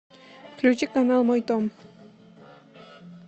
включи канал мой дом